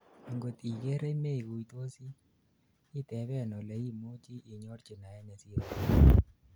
angot igerei meguitosi, iteben ole imuchi inyorji naet nesirei noton